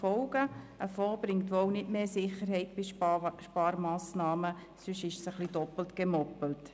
Ein Fonds bringt wohl nicht mehr Sicherheit bei Sparmassnahmen, sonst hätte man doppelt gemoppelt.